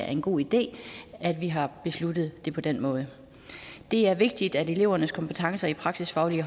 en god idé at vi har besluttet det på den måde det er vigtigt at elevernes kompetencer i praksisfaglige